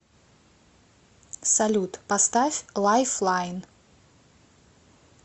салют поставь лайфлайн